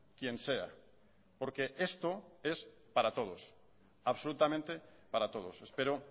quien sea porque esto es para todos absolutamente para todos espero